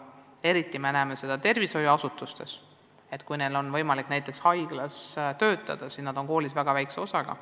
Eriti näeme seda siis, kui inimesel on võimalik näiteks haiglas töötada – siis on neil koolis väga väike koormus.